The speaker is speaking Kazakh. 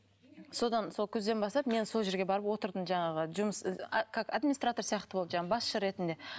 содан сол күзден бастап мен сол жерге барып отырдым жаңағы жұмыс как администратор сияқты болып жаңағы басшы ретінде